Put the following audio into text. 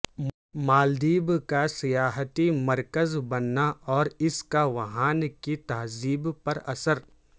مالدیب کا سیاحتی مرکز بننا اور اس کا وہاں کی تہذیب پر اثر